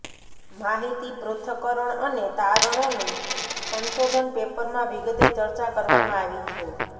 માહિતી પૃથક્કરણ અને તારણોની સંશોધન પેપરમાં વિગતે ચર્ચા કરવામાં આવી છે